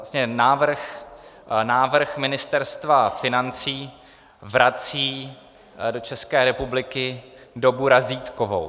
Vlastně návrh Ministerstva financí vrací do České republiky dobu razítkovou.